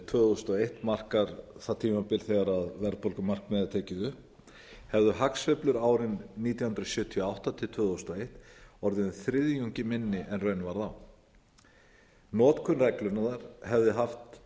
tvö þúsund og eitt markar það tímabil þegar verðbólgumarkmiðið var tekið upp hefðu hagsveiflur árin nítján hundruð sjötíu og átta til tvö þúsund og eitt orðið um þriðjungi minni en raun varð notkun reglunnar hefði haft